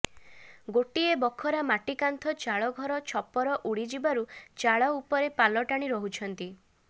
ଗୋଟିଏ ବଖରା ମାଟିକାନ୍ଥ ଚାଳଘର ଛପର ଉଡିଯିବାରୁ ଚାଳ ଉପରେ ପାଲଟାଣି ରହୁଛନ୍ତି